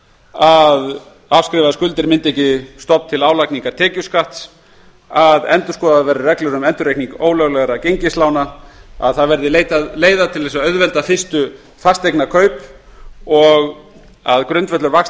að afskrifaðar skuldir myndi ekki stofn til álagningar tekjuskatts að endurskoða verði reglur um endurreikning ólöglegra gengislána að leitað verði leiða til að auðvelda fyrstu fasteignakaup og að grundvöllur vaxta og